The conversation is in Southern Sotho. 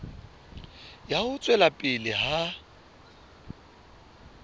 ya ho tswela pele ha